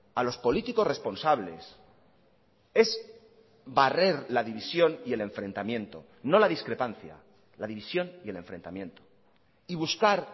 a los políticos responsables es barrer la división y el enfrentamiento no la discrepancia la división y el enfrentamiento y buscar